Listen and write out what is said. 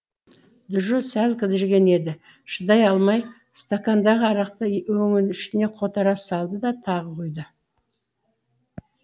джо сәл кідірген еді шыдай алмай стакандағы арақты өңешіне қотара салды да тағы құйды